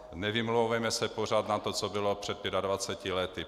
Nevymlouvejme se pořád na to, co bylo před 25 lety.